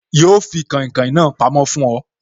Yo fi kàìnkaìn na pamó fún oy